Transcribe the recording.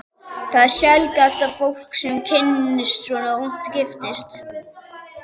Það er sjaldgæft að fólk, sem kynnist svona ungt, giftist.